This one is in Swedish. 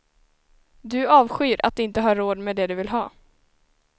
Du avskyr att inte ha råd med det du vill ha.